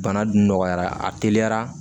Bana dun nɔgɔyara a teliyara